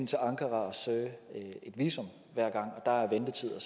til ankara og søge visum hver gang der er ventetid og